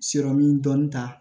dɔɔnin ta